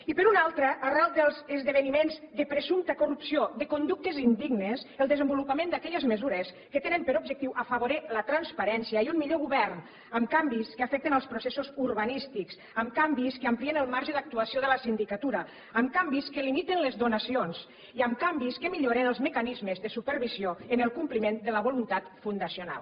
i per una altra arran dels esdeveniments de presumpta corrupció de conductes indignes el desenvolupament d’aquelles mesures que tenen per objectiu afavorir la transparència i un millor govern amb canvis que afecten els processos urbanístics amb canvis que amplien el marge d’actuació de la sindicatura amb canvis que limiten les donacions i amb canvis que milloren els mecanismes de supervisió en el compliment de la voluntat fundacional